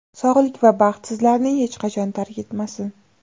Sog‘lik va baxt sizlarni hech qachon tark etmasin.